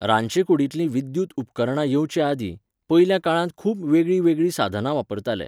रांदचे कुडींतलीं विद्युत उपकरणां येवच्या आदीं, पयल्या काळांत खूब वेगळीं वेगळीं साधना वापरताले.